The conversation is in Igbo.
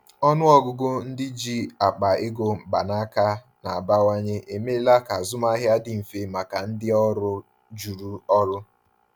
Ọnụ ọgụgụ ndị ji akpa ego mkpanaka na-abawanye emeela ka azụmahịa dị mfe maka ndị ọrụ juru ọrụ.